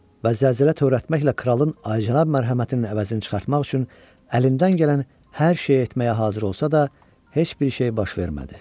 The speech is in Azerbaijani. Və zərrəcə tərəddüd etməklə kralın əcənab mərhəmətinin əvəzini çıxartmaq üçün əlindən gələn hər şeyi etməyə hazır olsa da, heç bir şey baş vermədi.